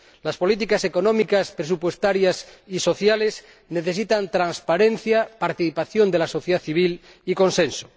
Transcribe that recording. Las políticas económicas presupuestarias y sociales necesitan transparencia, participación de la sociedad civil y consenso.